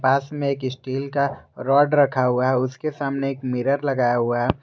पास में एक स्टील का रोड रखा हुआ है उसके सामने एक मिरर लगाया हुआ है।